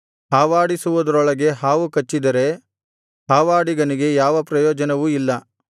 ಹಾವಾಡಿಸುವುದರೊಳಗೆ ಹಾವು ಕಚ್ಚಿದರೆ ಹಾವಾಡಿಗನಿಗೆ ಯಾವ ಪ್ರಯೋಜನವೂ ಇಲ್ಲ